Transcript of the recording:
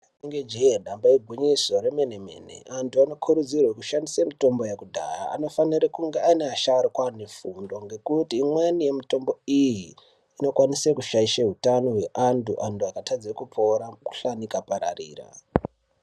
Inenge je damba igwinyiso remene mene antu anokurudzirwa kushandisa mitombo yekudhaya anofana kunge ari asharukwa anefundo ngekuti imweni yemitombo iyi inokwanisa kushaisha hutano hweantu antu akatadza kupora mukuhlani ukapararira.